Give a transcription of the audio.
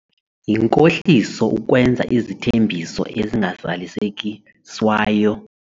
Yinkohliso ukwenza izithembiso ezingazalisekiswayo.